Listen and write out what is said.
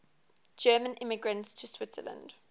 german immigrants to switzerland